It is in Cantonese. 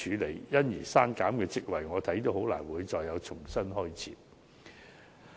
對於因此而刪減的職位，依我看來也難以重新開設。